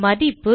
மதிப்பு